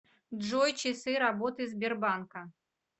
джой часы работы сбербанка